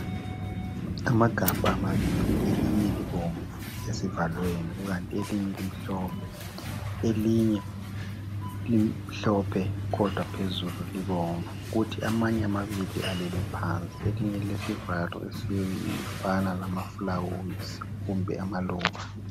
Amagabha mabili elinye libomvu esivalweni kukanti elinye limhlophe. Elinye limhlophe kodwa phezulu libomvu kuthi amanye amabili alele phansi. Elinye lilesivalo elifana lamaflawuzi kumbe amaluba.